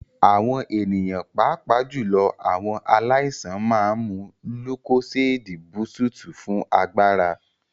Àwọn ènìyàn pàápàá jùlọ àwọn aláìsàn máa ń mu lúkóséédí búsúùtù fún agbára.